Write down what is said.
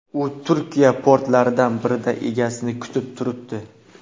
U Turkiya portlaridan birida egasini kutib turibdi.